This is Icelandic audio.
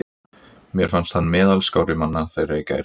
Mér fannst hann meðal skárri manna þeirra í gær.